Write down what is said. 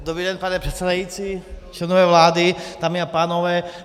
Dobrý den, pane předsedající, členové vlády, dámy a pánové.